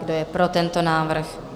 Kdo je pro tento návrh?